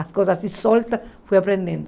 As coisas assim, soltas, fui aprendendo.